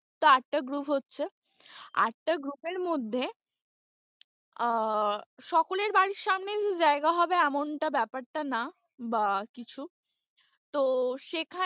আটটা group হচ্ছে, আটটা group এর মধ্যে আহ সকলের বাড়ির সামনেই যে জায়গা হবে এমনটা ব্যাপারটা না বা কিছু, তো সেখানে,